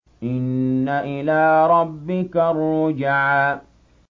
إِنَّ إِلَىٰ رَبِّكَ الرُّجْعَىٰ